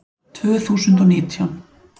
Tvö þúsund og nítján